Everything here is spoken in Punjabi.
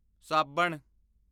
ਸਾਬਣ